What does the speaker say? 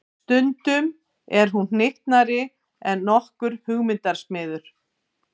Stundum er hún hnyttnari en nokkur hugmyndasmiður.